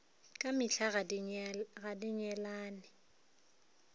ka mehla ga di nyalelane